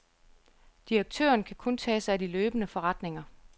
Direktøren kan kun tage sig af de løbende forretninger.